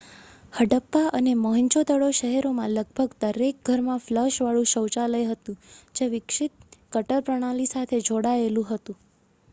હડપ્પા અને મોહેંજો-દડો શહેરોમાં લગભગ દરેક ઘરમાં ફ્લશવાળું શૌચાલય હતું જે વિકસિત ગટર પ્રણાલી સાથે જોડાયેલું હતું